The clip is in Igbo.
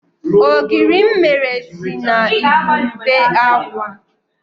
Ogiri m mere si na igurube agwa.